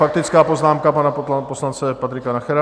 Faktická poznámka pana poslance Patrika Nachera.